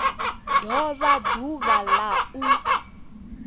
do vha ḓuvha la u